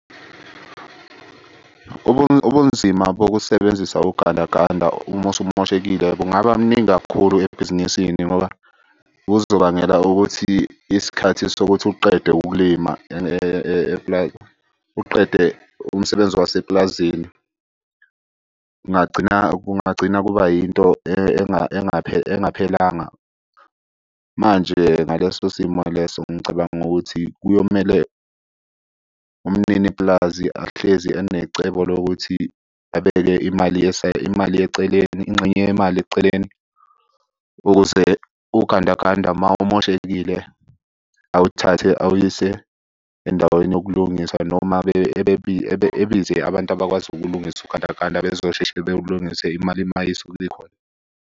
Ubunzima bokusebenzisa ugandaganda uma usumoshekile kungaba mningi kakhulu ebhizinisini ngoba kuzobangela ukuthi isikhathi sokuthi uqede ukulima . Uqede umsebenzi wasepulazini, kungagcina kungagcina kuba yinto engaphelanga. Manje ngaleso simo leso ngicabanga ukuthi kuyomele umnini pulazi ahlezi enecebo lokuthi abeke imali , imali eceleni. Ingxenye yemali eceleni ukuze ugandaganda uma umoshekile awuthathe awuyise endaweni yokulungisa noma ebize abantu abakwazi ukulungisa ugandaganda bezosheshe bewulungise imali uma isuke ikhona.